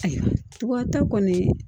Tubabuta kɔni